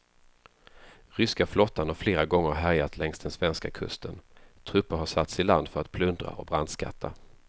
Ryska flottan har flera gånger härjat längs den svenska kusten, trupper har satts i land för att plundra och brandskatta.